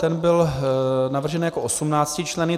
Ten byl navržen jako 18členný.